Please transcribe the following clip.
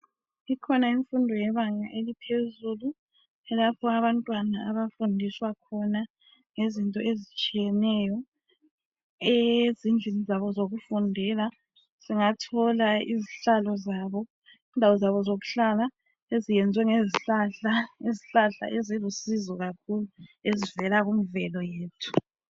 ikhona imfundo lebanga eliphezulu lapho abantwana abafundiswa khona ngezinto ezitshiyeneyo ezindlini zabo zokufundela singathola izindawo zabo zokuhlala eziyenzwe ngezihlahla izihlahla ezilusizo kakhulu ezivela kumvelo yethu